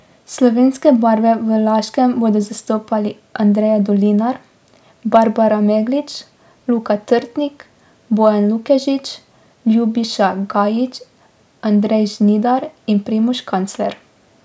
Slovenske barve v Laškem bodo zastopali Andreja Dolinar, Barbara Meglič, Luka Trtnik, Bojan Lukežič, Ljubiša Gajič, Andrej Žnidar in Primož Kancler.